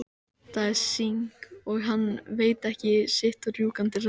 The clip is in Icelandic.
Það er eins og hann viti ekki sitt rjúkandi ráð.